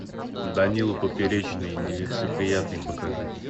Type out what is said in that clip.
данила поперечный нелицеприятный покажи